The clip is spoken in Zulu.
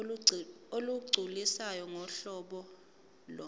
olugculisayo ngohlobo lo